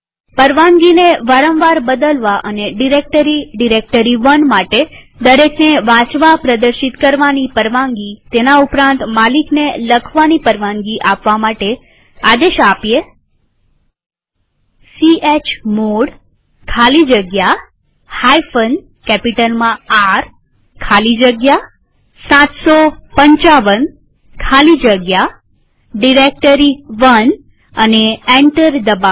પરવાનગીને વારંવાર બદલવા અને ડિરેક્ટરી ડાયરેક્ટરી1 માટે દરેકને વાંચવાની પ્રદર્શિત કરવાની પરવાનગીતેના ઉપરાંત માલિકને લખવાની પરવાનગી આપવા માટે આદેશ ચમોડ ખાલી જગ્યા કેપિટલમાંR ખાલી જગ્યા 755 ખાલી જગ્યા ડાયરેક્ટરી1 લખીએ અને એન્ટર દબાવીએ